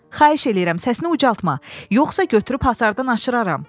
Xahiş edirəm səssini ucaltma, yoxsa götürüb hasardan aşıraram!